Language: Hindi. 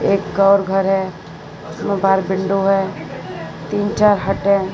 एक और घर हैं बाहर विंडो है तीन चार हट है।